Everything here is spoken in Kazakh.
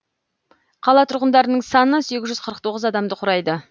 қала тұрғындарының саны сегіз жүз қырық тоғыз адамды құрайды